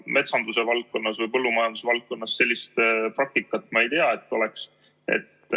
Metsanduse valdkonnas või põllumajandusvaldkonnas sellist praktikat ma ei tea, et oleks.